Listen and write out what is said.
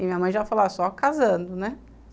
E minha mãe já falou, ah, só casando, né?